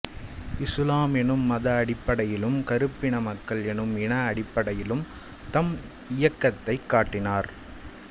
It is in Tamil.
இசுலாம் என்னும் மத அடிப்படையிலும் கருப்பின மக்கள் என்னும் இன அடிப்படையிலும் தம் இயக்கத்தைக் கட்டினார்